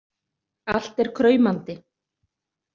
Allt er kraumandi.